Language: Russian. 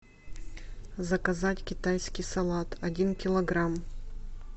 заказать китайский салат один килограмм